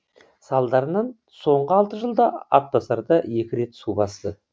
салдарынан соңғы алты жылда атбасарды екі рет су басты